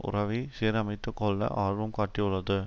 உறவை சீரமைத்துக் கொள்ள ஆர்வம் காட்டியுள்ளது